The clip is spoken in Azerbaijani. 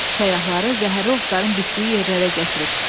Səyyahları zəhərli otların bitdiyi yerlərə gətirib.